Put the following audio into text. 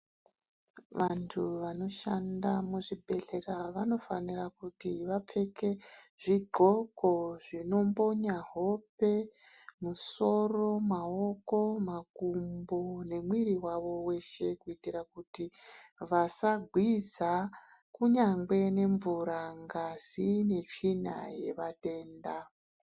Vantu vanoshanda muzvibhedhlera vanofanira kuti vapfeke zvidxoko zvinombonya hope, musoro, maoko, makumbo nemuiri wavo weshe kuitira kuti vasagwiza kunyangwe nemvura, ngazi netsvina yevatenda.